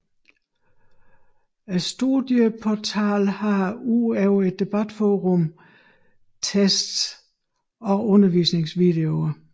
Studieportalen har ud over et debatforum tests også undervisningsvideoer